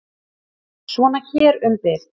Svona hér um bil.